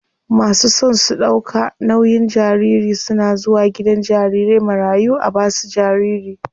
Masu son su ɗauka nauyin jariri suna zuwa gidan jarirai marayu a basu jariri.